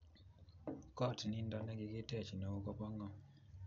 koot nindo negigitech neo, koba ngo?